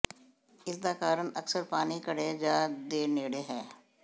ਇਸ ਦਾ ਕਾਰਨ ਅਕਸਰ ਪਾਣੀ ਘੜੇ ਜ ਦੇ ਨੇੜੇ ਹੈ